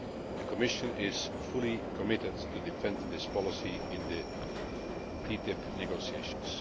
The Commission is fully committed to defending this policy in the TTIP negotiations.